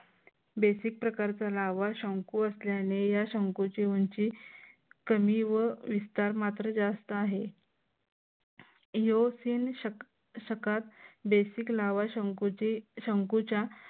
basic प्रकारचा लाव्हा शंकू असल्याने या शंकूची निर्मिती कमी व विस्तार मात्र जास्त आहे. basic लाव्हा शंकूची शंकूच्या